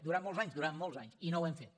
durant molts anys durant molts anys i no ho hem fet